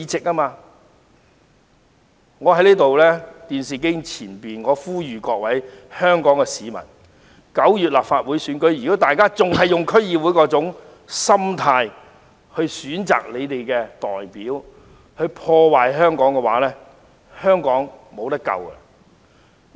我想呼籲在電視機前的各位香港市民，如果大家在9月的立法會選舉中仍然以看待區議會選舉的心態選擇他們的代表，破壞香港，香港便沒救了。